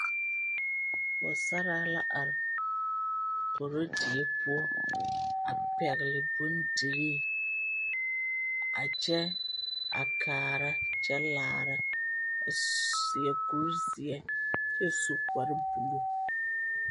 Pͻgesaraa la are korode poͻ. A pԑgele bondirii a kyԑŋ, a kaara kyԑ laara, a seԑ kuri zeԑ kyԑ su kpare buluu.